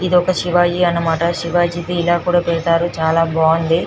ఇది ఒక శివాయి అనమాట శివాజీ ది ఇలా కూడా పెడతారు అనమాట చాల బాగుంది.